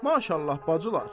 Maşallah, bacılar.